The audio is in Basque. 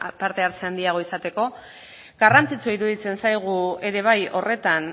parte hartze handiagoa izateko garrantzitsua iruditzen zaigu ere bai horretan